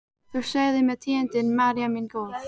Þú segir mér tíðindin, María mín góð.